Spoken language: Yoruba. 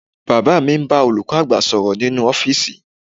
Bàbá mi ń bá olùkọ́ àgbà sọ̀rọ̀ nínú ọ́fíìsì